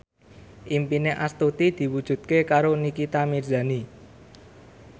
impine Astuti diwujudke karo Nikita Mirzani